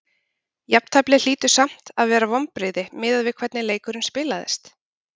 Jafnteflið hlýtur samt að vera vonbrigði miðað við hvernig leikurinn spilaðist?